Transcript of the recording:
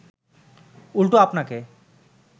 উল্টো আপনাকে